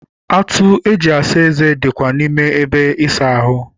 Atụ eji asa eze dikwa n'ime ebe ịsa ahụ.